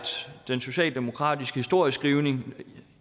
den socialdemokratiske historieskrivning